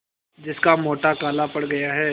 जिसका गोटा काला पड़ गया है